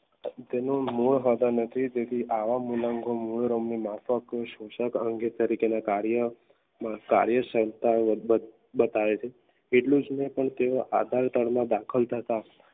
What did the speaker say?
મૂળ હોતો નથી તેથી આવા મૂલાંગો મૂળ માફક સોસાક અંગે તરીકેના કાર્ય સંસ્થાઓ વરબત બતાવે છે એટલું જોઈને તેઓ